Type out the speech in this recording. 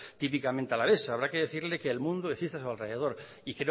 típicamente alaveses habrá que decirle que el mundo existe a su alrededor y